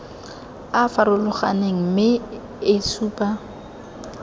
a farologaneng mme e supa